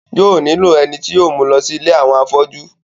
yóò nílò ẹni tí yóò mú u lọ sí ilé àwọn afọ́jú